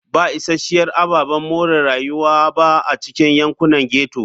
Ba isasshiyar ababen more rayuwa ba a cikin yankunan ghetto.